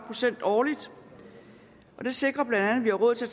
procent årligt det sikrer bla at vi har råd til